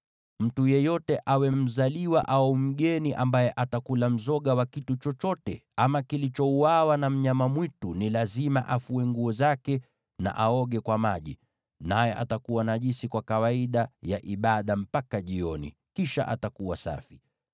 “ ‘Mtu yeyote, awe mzawa au mgeni, ambaye atakula mzoga wa kitu chochote ama kilichouawa na wanyama mwitu ni lazima afue nguo zake na aoge kwa maji, naye atakuwa najisi kwa kawaida ya ibada mpaka jioni, kisha atakuwa safi.